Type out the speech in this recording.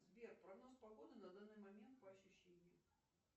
сбер прогноз погоды на данный момент по ощущениям